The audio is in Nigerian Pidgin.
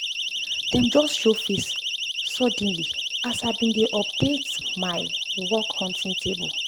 dem just show face suddenly as i been dey update my dey update my work-hunting table